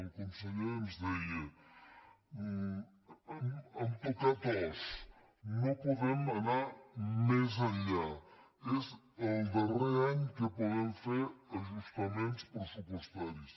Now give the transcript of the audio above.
el conseller ens deia hem tocat os no podem anar més enllà és el darrer any que podem fer ajustaments pressupostaris